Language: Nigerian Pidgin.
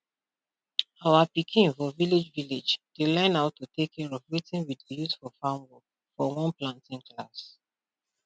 our pikin for village village dey learn how to take care of wetin we dey use for farm work for one planting class